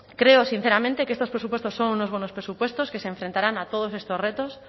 creo sinceramente que estos presupuestos son unos buenos presupuestos que se enfrentarán a todos estos retos